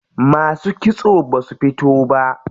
Masu kitso basu fito ba.